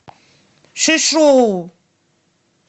шишоу